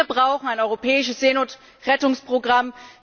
Wir brauchen ein europäisches Seenotrettungsprogramm!